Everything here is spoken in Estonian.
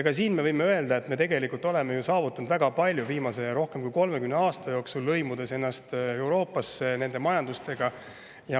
Ka selle puhul võime öelda, et me tegelikult oleme ju saavutanud väga palju viimase rohkem kui 30 aasta jooksul, lõimides ennast Euroopa ja selle majandusega.